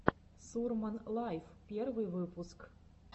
сурман лайв первый выпуск